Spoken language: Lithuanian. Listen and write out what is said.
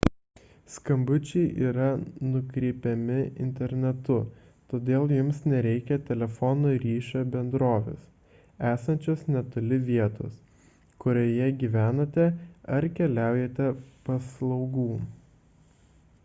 skambučiai yra nukreipiami internetu todėl jums nereikia telefono ryšio bendrovės esančios netoli vietos kurioje gyvenate ar keliaujate paslaugų